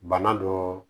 Bana dɔ